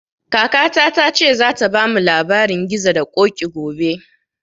Kakata ta ce za ta bamu labarin gizo da koƙi gobe